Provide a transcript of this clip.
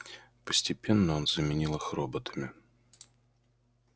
постепенно он заменил их роботами